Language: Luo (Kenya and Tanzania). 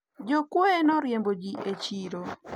jokuoye noriembo ji e chiro